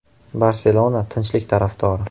“Barselona” tinchlik tarafdori!.